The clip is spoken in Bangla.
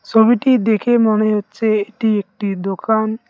ছবিটি দেখে মনে হচ্ছে এটি একটি দোকান।